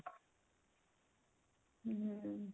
hm